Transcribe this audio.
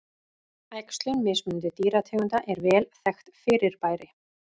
Æxlun mismunandi dýrategunda er vel þekkt fyrirbæri.